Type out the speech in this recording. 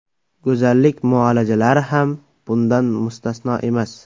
Go‘zallik muolajalari ham bundan mustasno emas.